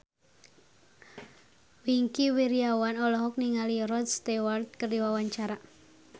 Wingky Wiryawan olohok ningali Rod Stewart keur diwawancara